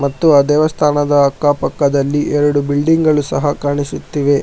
ಮತ್ತು ಆ ದೇವಸ್ಥಾನದ ಅಕ್ಕ ಪಕ್ಕದಲ್ಲಿ ಎರಡು ಬಿಲ್ಡಿಂಗ್ ಗಳು ಸಹ ಕಾಣಿಸುತ್ತಿವೆ.